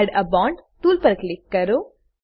add a bond tool પર click કરો